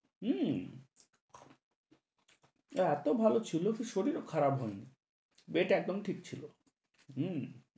হু, এতো ভালো ছিলো কি শরীরও খারাপ হয়নি। বেট একদম ঠিক ছিলো।